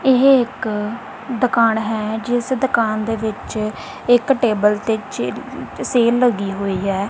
ਇਹ ਇੱਕ ਦੁਕਾਨ ਹੈ ਜਿਸ ਦੁਕਾਨ ਦੇ ਵਿੱਚ ਇੱਕ ਟੇਬਲ ਤੇ ਚ ਸੇਲ ਲੱਗੀ ਹੋਈ ਹੈ।